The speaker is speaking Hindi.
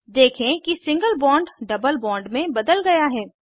देखें कि सिंगल बॉन्ड डबल बॉन्ड में बदल गया है